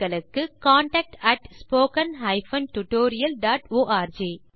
contact at spoken hyphen tutorial dot arc